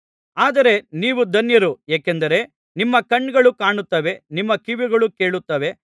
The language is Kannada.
ಆದರೆ ನೀವು ಧನ್ಯರು ಏಕೆಂದರೆ ನಿಮ್ಮ ಕಣ್ಣುಗಳು ಕಾಣುತ್ತವೆ ನಿಮ್ಮ ಕಿವಿಗಳು ಕೇಳುತ್ತವೆ